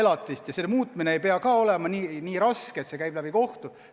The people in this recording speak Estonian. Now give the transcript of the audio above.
Makstava summa muutmine ei pea ka olema nii raske, et see käib läbi kohtu.